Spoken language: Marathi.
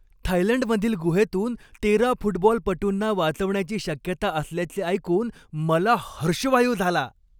थायलंडमधील गुहेतून तेरा फुटबॉलपटूंना वाचवण्याची शक्यता असल्याचे ऐकून मला हर्षवायू झाला.